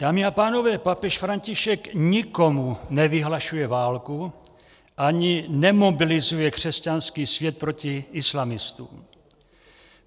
Dámy a pánové, papež František nikomu nevyhlašuje válku ani nemobilizuje křesťanský svět proti islamistům.